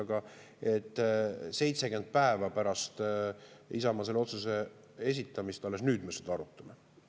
Aga jah, alles nüüd, 70 päeva pärast seda, kui Isamaa selle otsuse esitas, me seda arutame.